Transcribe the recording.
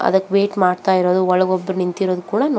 ಅದಕ್ಕೆ ವೇಟ್ ಮಾಡತ್ತಾ ಇರೋದು ಒಳಗೆ ಒಬ್ರು ನಿಂತಿರೋದು ಕೂಡ ನೋಡಬಹುದು.